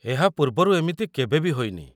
ଏହା ପୂର୍ବରୁ ଏମିତି କେବେ ବି ହୋଇନି।